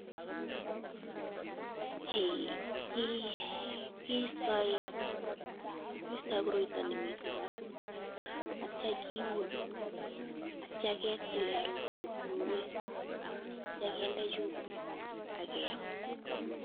Kiistoi koroito nemi barak atyam kiun , atay ketile rotwet komnye atya kende chumbik akeyam.